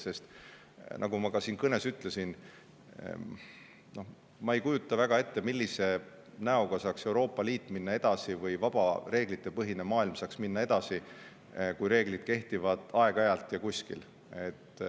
Sest nagu ma ka siin kõnes ütlesin, ma ei kujuta väga hästi ette, millise näoga saaks Euroopa Liit või vaba reeglitepõhine maailm minna edasi, kui reeglid kehtivad ainult aeg-ajalt ja kuskil.